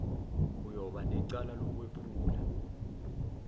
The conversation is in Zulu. uyoba necala lokwephula